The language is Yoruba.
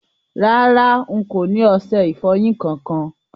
Rárá, ì kò ni oṣẹ-ìfọ́yin kan-kan.